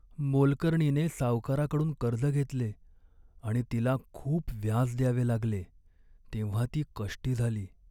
मोलकरणीने सावकाराकडून कर्ज घेतले आणि तिला खूप व्याज द्यावे लागले तेव्हा ती कष्टी झाली.